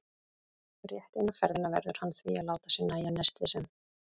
Rétt eina ferðina verður hann því að láta sér nægja nestið sem